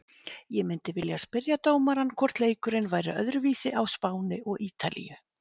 Ég myndi vilja spyrja dómarann hvort leikurinn væri öðruvísi á Spáni og ítalíu?